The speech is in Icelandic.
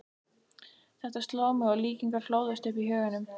Þetta sló mig, og líkingar hlóðust upp í huganum.